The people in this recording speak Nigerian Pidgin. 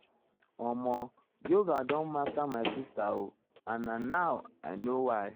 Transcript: omo yoga don master my sister o and na now um i um know why o.